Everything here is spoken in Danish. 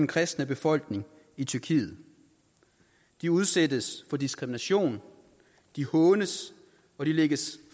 kristne befolkning i tyrkiet de udsættes for diskrimination de hånes og de lægges